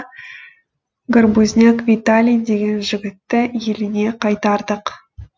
горбузняк виталий деген жігітті еліне қайтардық